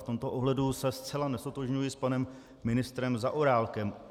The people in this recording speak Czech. V tomto ohledu se zcela neztotožňuji s panem ministrem Zaorálkem.